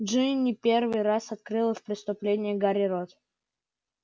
джинни первый раз открыла в присутствии гарри рот